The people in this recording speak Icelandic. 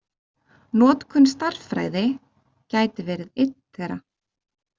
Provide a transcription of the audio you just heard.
Notkun stærðfræði gæti verið einn þeirra.